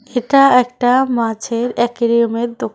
এটা একটা মাছের অ্যাকুরিয়ামের দোকান।